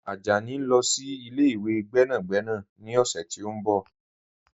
Ajani n lọ sí ilẹ̀-ìwé gbẹ́nàgbẹ̀nà ni ọ̀ṣẹ̀ ti n bọ̀.